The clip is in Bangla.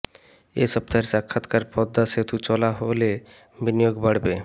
এ সপ্তাহের সাক্ষাৎকার পদ্মা সেতু চালু হলে বিনিয়োগ বাড়বে